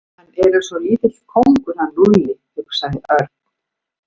Hann er eins og lítill kóngur hann Lúlli hugsaði Örn.